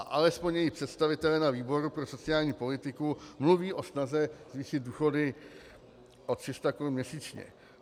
A alespoň její představitelé na výboru pro sociální politiku mluví o snaze zvýšit důchody o 300 korun měsíčně.